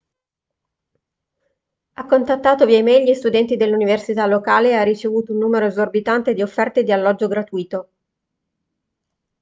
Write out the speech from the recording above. ha contattato via e-mail gli studenti dell'università locale e ha ricevuto un numero esorbitante di offerte di alloggio gratuito